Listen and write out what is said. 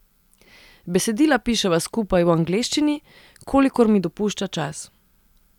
Besedila piševa skupaj v angleščini, kolikor mi dopušča čas.